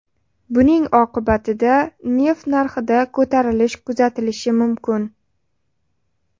Buning oqibatida neft narxida ko‘tarilish kuzatilishi mumkin.